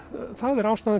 ástæðan